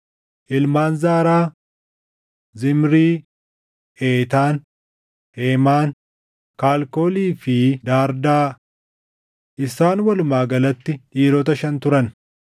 Ilmaan Zaaraa: Zimrii, Eetaan, Heemaan, Kalkoolii fi Daardaa. Isaan walumaa galatti dhiirota shan turan.